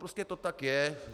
Prostě to tak je.